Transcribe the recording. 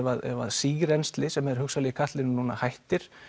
sírennsli sem er hugsanlega í katlinum núna hættir